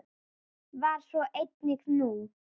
Var svo einnig nú.